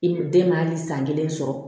I den ma hali san kelen sɔrɔ